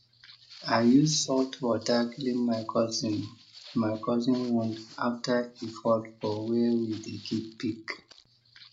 i use salt water clean my cousin my cousin wound after e fall for where we dey keep pig